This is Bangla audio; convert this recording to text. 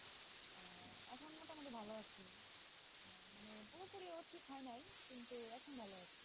মোটামুটি ভালো আছি হ্যাঁ পুরোপুরি ঠিক হয় নাই কিন্তু এখন ভালো আছি,